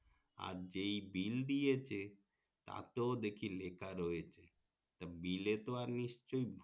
আর যেই bill দিয়েছে তাতেও দেখি লেখা রয়েছে তা bill এ তো আর নিশ্চই